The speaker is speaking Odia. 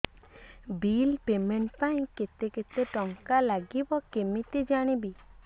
ବିଲ୍ ପେମେଣ୍ଟ ପାଇଁ କେତେ କେତେ ଟଙ୍କା ଲାଗିବ କେମିତି ଜାଣିବି